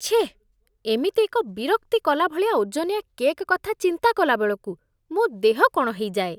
ଛେଃ, ଏମିତି ଏକ ବିରକ୍ତି କଲା ଭଳିଆ ଓଜନିଆ କେକ୍ କଥା ଚିନ୍ତା କଲା ବେଳକୁ ମୋ ଦେହ କ'ଣ ହେଇଯାଏ।